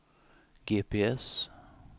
GPS